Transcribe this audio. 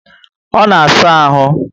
Ọ na saa ahụ